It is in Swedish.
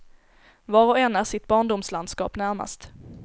Var och en är sitt barndomslandskap närmast.